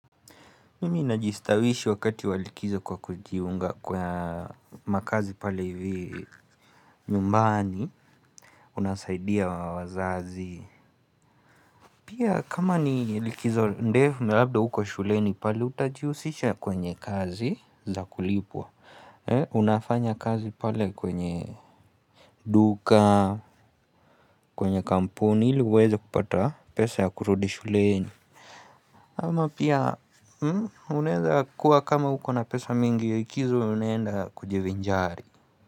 Mimi najistawishi wakati wa likizo kwa kujiunga kwa makazi pale hivi nyumbani unasaidia wazazi. Pia kama ni likizo ndefu na labda huko shuleni pale utajihusisha kwenye kazi za kulipwa. Unafanya kazi pale kwenye duka, kwenye kampuni ili uweze kupata pesa ya kurudi shuleni. Ama pia unaweza kuwa kama uko na pesa mingi ya likizo unenda kujivinjari.